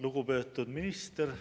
Lugupeetud minister!